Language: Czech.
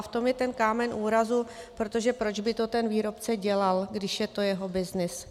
A v tom je ten kámen úrazu - protože proč by to ten výrobce dělal, když je to jeho byznys?